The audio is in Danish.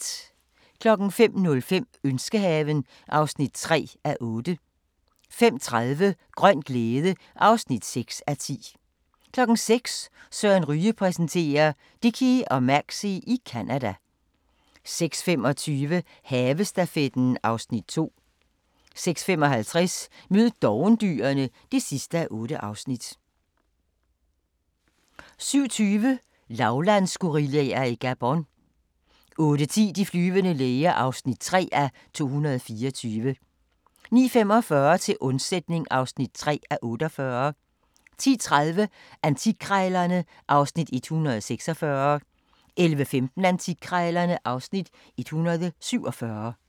05:05: Ønskehaven (3:8) 05:30: Grøn glæde (6:10) 06:00: Søren Ryge præsenterer: Dickie og Maxie i Canada 06:25: Havestafetten (Afs. 2) 06:55: Mød dovendyrene (8:8) 07:20: Lavlandsgorillaer i Gabon 08:10: De flyvende læger (3:224) 09:45: Til undsætning (3:48) 10:30: Antikkrejlerne (Afs. 146) 11:15: Antikkrejlerne (Afs. 147)